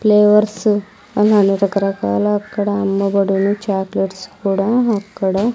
Flavours అని రకరకాల అక్కడ అమ్మబడును చాక్లెట్స్ కూడా అక్కడ.